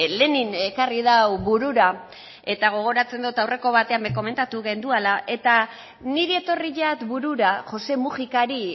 lenin ekarri dau burura eta gogoratzen dot aurreko batean be komentatu genduala eta niri etorri jat burura josé mujicari